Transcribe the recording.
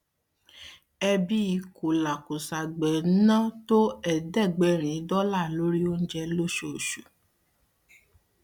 ẹbí kòlàkòṣagbe ń ná tó ẹẹdẹgbẹrin dọlà lóri oúnjẹ lóṣooṣù